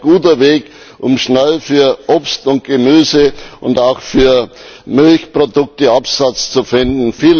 Hier wäre ein guter Weg, um schnell für Obst und Gemüse und auch für Milchprodukte Absatz zu finden.